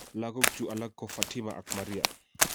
lagok chu alak ko Fatima ak Maria.